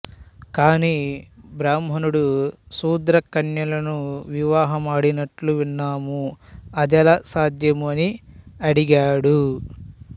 కాని బ్రాహ్మణుడు శూద్రకన్యలను వివాహమాడినట్లు విన్నాము అదెలా సాధ్యము అని అడిగాడు